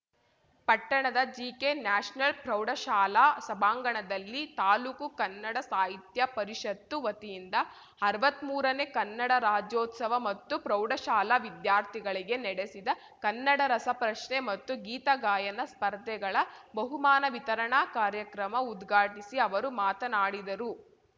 ಪಟ್ಟಣದ GK national ಪ್ರೌಢಶಾಲಾ ಸಭಾಂಗಣದಲ್ಲಿ ತಾಲೂಕು ಕನ್ನಡ ಸಾಹಿತ್ಯ ಪರಿಷತ್ತು ವತಿಯಿಂದ ಅರ್ವತ್ಮೂರನೇ ಕನ್ನಡ ರಾಜ್ಯೋತ್ಸವ ಮತ್ತು ಪ್ರೌಢಶಾಲಾ ವಿದ್ಯಾರ್ಥಿಗಳಿಗೆ ನಡೆಸಿದ ಕನ್ನಡ ರಸಪ್ರಶ್ನೆ ಮತ್ತು ಗೀತಗಾಯನ ಸ್ಪರ್ಧೆಗಳ ಬಹುಮಾನ ವಿತರಣಾ ಕಾರ್ಯಕ್ರಮ ಉದ್ಘಾಟಿಸಿ ಅವರು ಮಾತನಾಡಿದರು